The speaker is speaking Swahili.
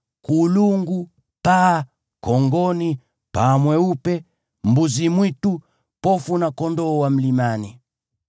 kulungu, paa, kongoni, paa mweupe, mbuzi-mwitu, pofu na kondoo wa mlimani.